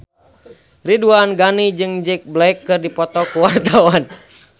Ridwan Ghani jeung Jack Black keur dipoto ku wartawan